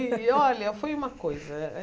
E olha, foi uma coisa.